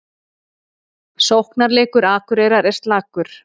Sóknarleikur Akureyrar er slakur